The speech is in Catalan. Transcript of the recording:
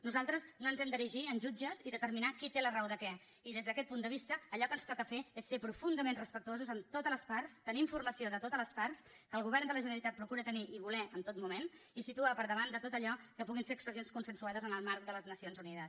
nosaltres no ens hem d’erigir en jutges i determinar qui té la raó de què i des d’aquest punt de vista allò que ens toca fer és ser profundament respectuosos amb totes les parts tenir informació de totes les parts que el govern de la generalitat procura tenir i voler en tot moment i situar per davant de tot allò que puguin ser expressions consensuades en el marc de les nacions unides